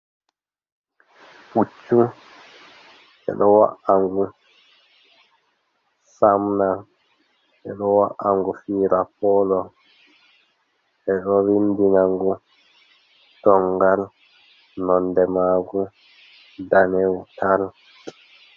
Pucchu ɓeɗo wa’angù samna, ɓedo wa’angu fira polo ɓedo vindinangu tongal, nonɗe magù ɗanewu tal.